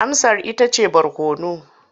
Amsar ita ce barkono.